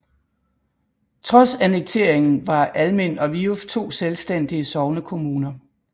Trods annekteringen var Almind og Viuf to selvstændige sognekommuner